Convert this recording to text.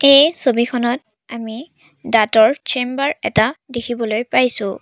এই ছবিখনত আমি দাঁতৰ চেম্বাৰ এটা দেখিবলৈ পাইছোঁ।